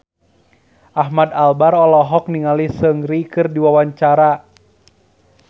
Ahmad Albar olohok ningali Seungri keur diwawancara